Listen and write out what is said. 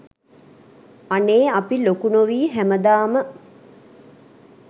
අනේ අපි ලොකු නොවී හැමදාම